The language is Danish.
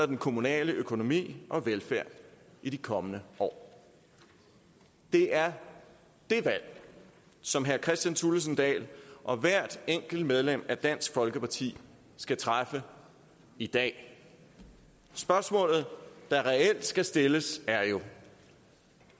den kommunale økonomi og velfærd i de kommende år det er det valg som herre kristian thulesen dahl og hvert enkelt medlem af dansk folkeparti skal træffe i dag spørgsmålet der reelt skal stilles er jo